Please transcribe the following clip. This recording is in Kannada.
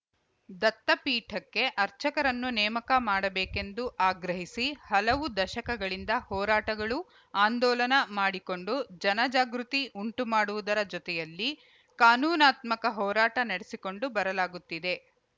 ದತ್ತಪೀಠಕ್ಕೆ ಅರ್ಚಕರನ್ನು ನೇಮಕ ಮಾಡಬೇಕೆಂದು ಆಗ್ರಹಿಸಿ ಹಲವು ದಶಕಗಳಿಂದ ಹೋರಾಟಗಳು ಆಂದೋಲನ ಮಾಡಿಕೊಂಡು ಜನಜಾಗೃತಿ ಉಂಟು ಮಾಡುವುದರ ಜತೆಯಲ್ಲಿ ಕಾನೂನಾತ್ಮಕ ಹೋರಾಟ ನಡೆಸಿಕೊಂಡು ಬರಲಾಗುತ್ತಿದೆ